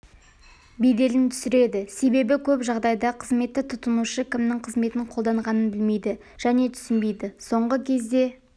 беделін түсіреді себебі көп жағдайда қызметті тұтынушы кімнің қызметін қолданғанын білмейді және түсінбейді соңғы кезде